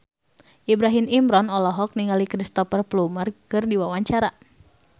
Ibrahim Imran olohok ningali Cristhoper Plumer keur diwawancara